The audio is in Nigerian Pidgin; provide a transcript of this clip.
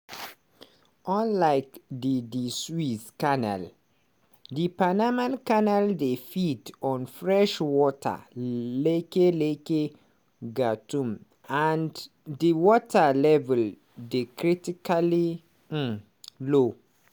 unlike di di suez canal di panama canal dey feed on freshwater lake lake gatún and di water level dey critically um low.